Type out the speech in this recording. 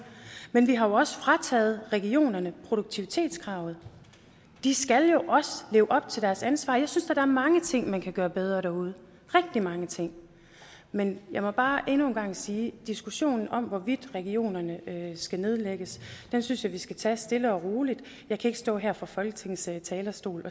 men vi har jo også frataget regionerne produktivitetskravet de skal jo også leve op til deres ansvar jeg synes da der er mange ting man kan gøre bedre derude rigtig mange ting men jeg må bare endnu en gang sige at diskussionen om hvorvidt regionerne skal nedlægges synes jeg vi skal tage stille og roligt jeg kan ikke stå og sige her fra folketingets talerstol